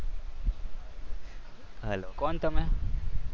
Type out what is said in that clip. કોણ તમે?